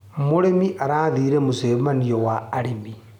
Mũrĩmi arathire mũcemanio wa arĩmi.